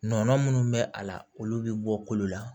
Nɔnɔ minnu bɛ a la olu bɛ bɔ kolo la